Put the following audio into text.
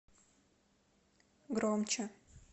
громче